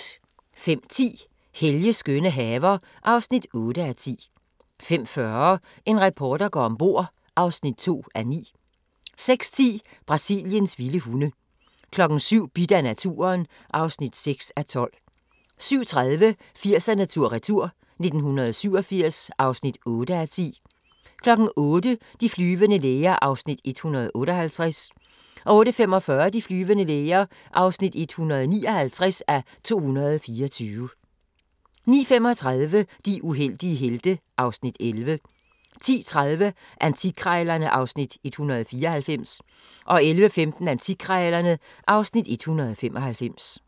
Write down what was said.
05:10: Helges skønne haver (8:10) 05:40: En reporter går om bord (2:9) 06:10: Brasiliens vilde hunde 07:00: Bidt af naturen (6:12) 07:30: 80'erne tur-retur: 1987 (8:10) 08:00: De flyvende læger (158:224) 08:45: De flyvende læger (159:224) 09:35: De uheldige helte (Afs. 11) 10:30: Antikkrejlerne (Afs. 194) 11:15: Antikkrejlerne (Afs. 195)